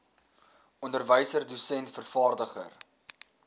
onderwyser dosent vervaardiger